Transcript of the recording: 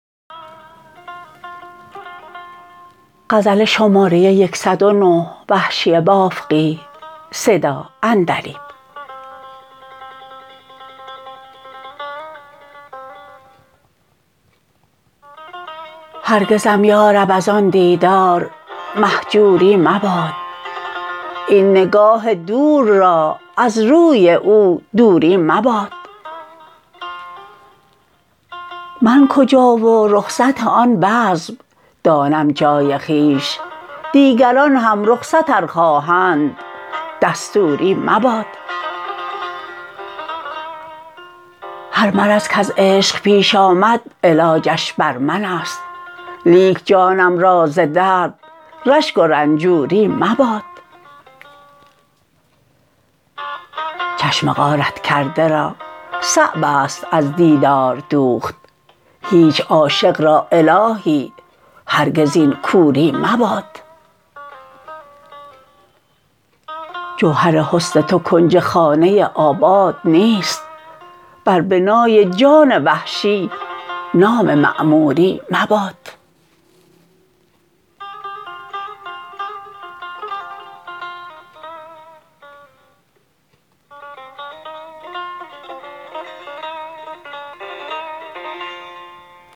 هرگزم یارب از آن دیدار مهجوری مباد این نگاه دور را از روی او دوری مباد من کجا و رخصت آن بزم دانم جای خویش دیگران هم رخصت ار خواهند دستوری مباد هر مرض کز عشق پیش آمد علاجش بر منست لیک جانم را ز درد رشک و رنجوری مباد چشم غارت کرده را صعب است از دیدار دوخت هیچ عاشق را الهی هرگز این کوری مباد جوهر حسن تو کنج خانه آباد نیست بر بنای جان وحشی نام معموری مباد